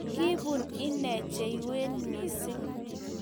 Kibun inee chewien missing